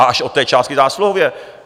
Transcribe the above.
A až od té částky zásluhově.